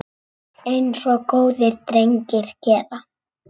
Eins og góðir drengir gera.